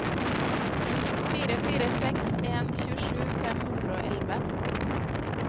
fire fire seks en tjuesju fem hundre og elleve